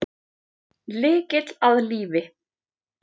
Lykill að lífi